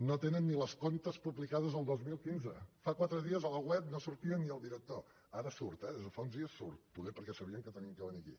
no tenen ni els comptes publicats del dos mil quinze fa quatre dies a la web no sortia ni el director ara surt eh des de fa uns dies surt poder perquè sabien que havia de venir aquí